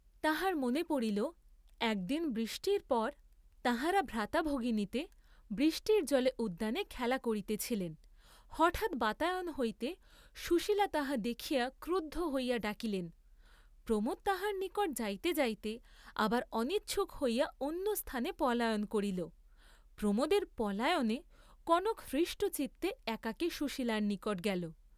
তাঁহার মনে পড়িল, এক দিন বৃষ্টির পর তাঁহারা ভ্রাতাভগিনীতে বৃষ্টির জলে উদ্যানে খেলা করিতেছিলেন, হঠাৎ বাতায়ন হইতে সুশীলা তাহা দেখিয়া ক্রুদ্ধ হইয়া ডাকিলেন, প্রমোদ তাঁহার নিকট যাইতে যাইতে আবার অনিচ্ছুক হইয়া অন্য স্থানে পলায়ন করিল, প্রমোদের পলায়নে কনক হৃষ্টচিত্তে একাকী সুশীলার নিকট গেল।